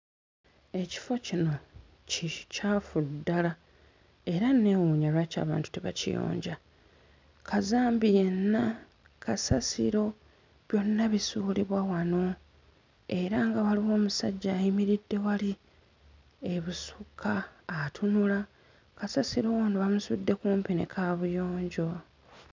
Ekifo kino kikyafu ddala era nneewunya lwaki abantu tebakiyonja. Kazambi yenna, kasasiro byonna bisuulibwa wano era nga waliwo omusajja ayimiridde wali ebusukka atunula. Kasasiro ono bamutudde kumpi ne kaabuyonjo.